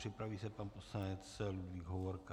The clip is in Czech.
Připraví se pan poslanec Ludvík Hovorka.